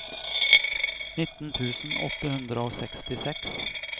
nitten tusen åtte hundre og sekstiseks